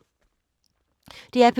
DR P2